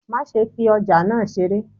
ma sé fi ojà náá seré!